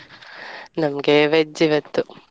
ನಮ್ಗೆ veg ಇವತ್ತು.